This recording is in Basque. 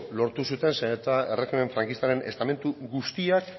lortu zuten zeren eta erregimen frankistaren estamentu guztiak